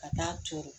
Ka taa turu